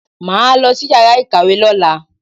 Màá lọ sí yàrá ìkàwé lọ́la.